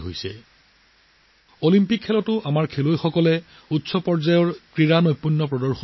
এতিয়া গোটেই দেশখনে আশা কৰিছে যে আমাৰ খেলুৱৈসকলেও অলিম্পিকত ভাল প্ৰদৰ্শন কৰিব